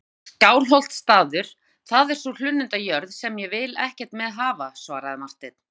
En Skálholtsstaður, það er sú hlunnindajörð sem ég vil ekkert með hafa, svaraði Marteinn.